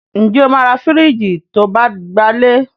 Ǹ jẹ́ o máa ra fìríjìì to bá gbalé.